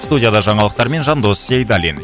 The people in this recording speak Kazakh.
студияда жаңалықтармен жандос сейдалин